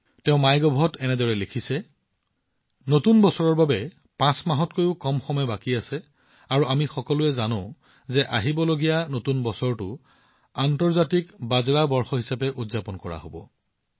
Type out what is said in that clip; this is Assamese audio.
তেওঁ মাইগভত এনেধৰণৰ কথা লিখিছে নতুন বছৰৰ বাবে ৫ মাহতকৈও কম সময় বাকী আছে আৰু আমি সকলোৱে জানো যে আগন্তুক নতুন বছৰটো আন্তৰ্জাতিক বাজৰা বৰ্ষ হিচাপে উদযাপন কৰা হব